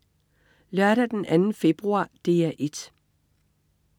Lørdag den 2. februar - DR 1: